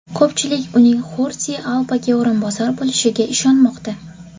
Ko‘pchilik uning Xordi Albaga o‘rinbosar bo‘lishiga ishonmoqda.